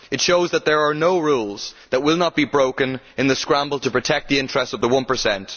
It shows that there are no rules that will not be broken in the scramble to protect the interests of the one per cent.